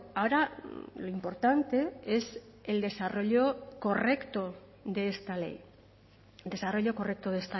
ahora lo importante es el desarrollo correcto de esta ley desarrollo correcto de